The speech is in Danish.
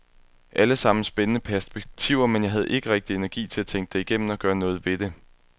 Allesammen spændende perspektiver, men jeg havde ikke rigtig energi til at tænke det igennem og gøre noget ved det.